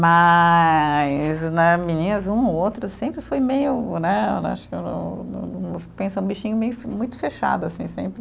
Mas né, meninos, um ou outro sempre fui meio, né, acho que não não, pensa um bichinho meio, muito fechado, assim, sempre.